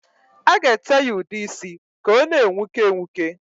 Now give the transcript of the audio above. A ga-ete ya udeisi ka ọ na-enwuke enwuke.